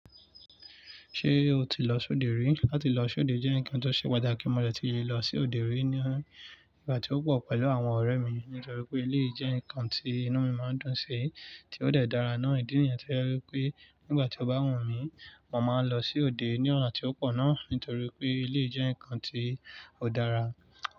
Ṣé o ti lọ sóde rí? Lati lọ sóde jẹ́ ǹnkan tó ṣe pàtàkì, mo dẹ̀ ti le lọ sí òde rí ní ìgbà tí ó pọ̀ pẹ̀lú àwọn ọ̀rẹ́ mi nítorí pé eléyi jẹ́ ǹnkan tí inú mi máa ń dùn sí tí ó dẹ̀ dára náà. Ìdí nìyẹn to je wipé nígbà tí o bá wu mí, mo máa lọ sí òde ní ọ̀na tí ó pọ̀ náà nítorí pé eléyi jẹ́ nǹkan tí ó dára.